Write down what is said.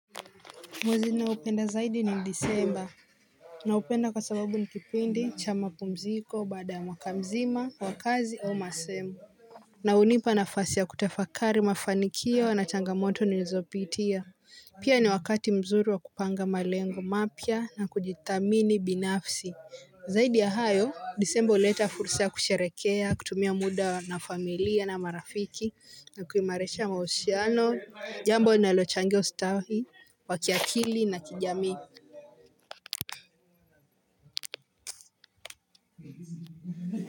Mwezi naupenda zaidi ni disemba na upenda kwa sababu nikipindi cha mapumziko baada ya mwakamzima wa kazi au masemo. Na hunipa nafasi ya kutafakari mafanikio na changamoto ni nizopitia pia ni wakati mzuri wa kupanga malengo mapya na kujithamini binafsi. Zaidi ya hayo, disemba huleta fursa kusherekea, kutumia muda na familia na marafiki, na kuimarisha mahusiano, jambo linalo changia ustahi, wakiakili na kijamii.